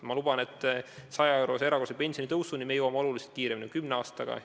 Ma luban, et 100-eurose erakorralise pensionitõusuni me jõuame oluliselt kiiremini kui kümne aastaga.